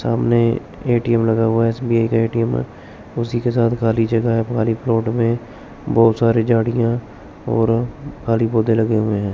सामने ए_टी_एम लगा हुआ एस_बी_आई का ए_टी_एम है उसी के साथ खाली जगह है खाली प्लॉट में बहोत सारी झाड़ियां और खाली पौधे लगे हुए हैं।